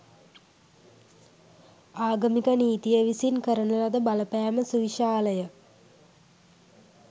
ආගමික නීතිය විසින් කරන ලද බලපෑම සුවිශාලය.